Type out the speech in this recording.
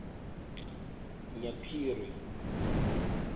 nyaphiri